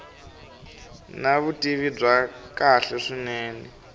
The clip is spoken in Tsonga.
na vutivi bya kahle swinene